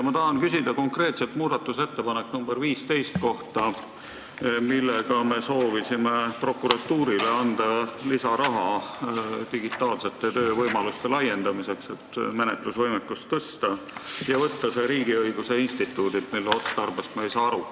Ma tahan küsida konkreetselt muudatusettepaneku nr 15 kohta, millega me soovisime prokuratuurile anda lisaraha digitaalsete töövõimaluste laiendamiseks, et tõsta nende menetlusvõimekust, ja võtta see riigiõiguse instituudilt, mille otstarbest me aru ei saa.